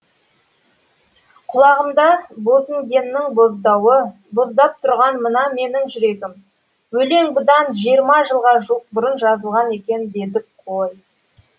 құлағымда бозінгеннің боздауы боздап тұрған мына менің жүрегім өлең бұдан жиырма жылға жуық бұрын жазылған екен дедік қой